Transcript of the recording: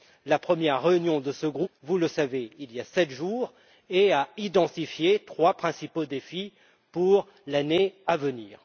La première réunion de ce groupe a eu lieu vous le savez il y a sept jours et a identifié trois défis principaux pour l'année à venir.